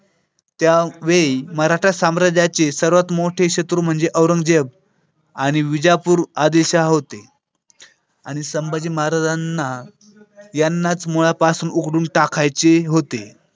त्या वेळी मराठा साम्राज्याचे सर्वात मोठे शत्रू म्हणजे औरंगज़ेब आणि विजापूर आदिल शहा होते आणि संभाजी महाराजांना यांनाच मुळापासून उखडून टाकायचे होते.